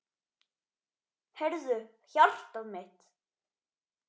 Heyrðu, hjartað mitt.